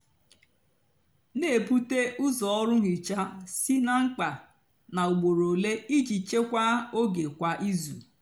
nà-èbute úzọ ọrụ nhicha sị ná mkpá nà úgbóró ólé íjì chekwaa ógè kwá ízú.